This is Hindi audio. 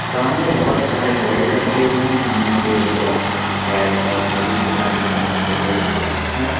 सामने बहुत सारे बेल्ट रखे हुए हैं जिनमें से डॉग कैट और सभी प्रकार के जानवर के बेल्ट्स से उपस्थित हैं।